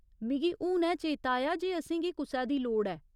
मिगी हुनै चेता आया जे असेंगी कुसै दी लोड़ ऐ।